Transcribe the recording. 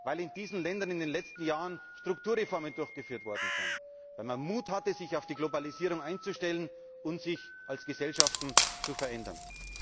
Weil in diesen Ländern in den letzten Jahren Strukturreformen durchgeführt worden sind, weil man Mut hatte, sich auf die Globalisierung einzustellen und sich als Gesellschaft zu verändern.